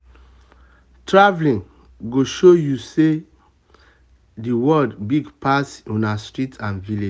travel go show you say the world big pass una street and village.